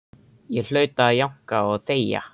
Ég hlaut að jánka og þegja.